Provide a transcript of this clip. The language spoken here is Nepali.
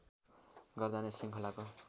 गर्दा नै श्रृङ्खलाको